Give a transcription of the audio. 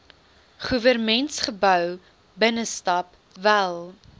goewermentsgebou binnestap wel